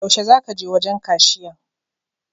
Yaushe za ka je wajen kashiyan?